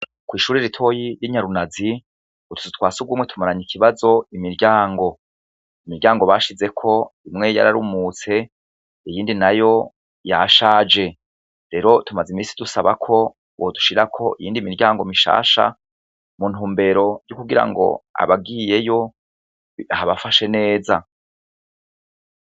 Kw'ishuri ritoyi r'inyarunazi ngo tuzu twasi ugumwe tumaranya ikibazo imiryango imiryango bashizeko imwe yo ararumutse iyindi na yo ya shaje rero tumaze imisi dusabako wodushira ko iyindi miryango mishasha muntumbero ry'ukugira ngo abagiyeyo abafashe neza.